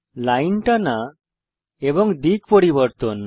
line টানা এবং দিক পরিবর্তন